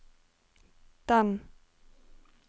den